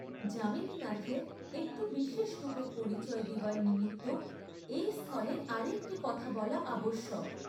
যামিনীনাথের একটু বিশেষরূপে পরিচয় দিবার নিমিত্ত এই স্থলে আর একটি কথা বলা আবশ্যক।